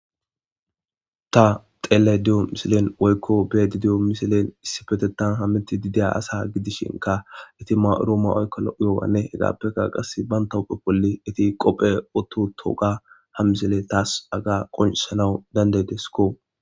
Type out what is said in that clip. ta xeele diyo misilen woykko bee didiyo misilen issi fetetan hammiti dideya asa gidishinka iti ma7uroome oykko lo7iyowanne hegaappeka qas ban tauphe polli iti qophe ototo ga ha misile taas aga qonsanawu dandeydesko